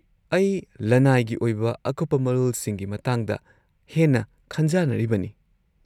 -ꯑꯩ ꯂꯅꯥꯏꯒꯤ ꯑꯣꯏꯕ ꯑꯀꯨꯞꯄ ꯃꯔꯣꯜꯁꯤꯡꯒꯤ ꯃꯇꯥꯡꯗ ꯍꯦꯟꯅ ꯈꯟꯖꯥꯅꯔꯤꯕꯅꯤ꯫